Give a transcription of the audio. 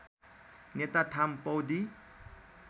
नेटा थाम पौदी